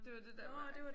Det var det der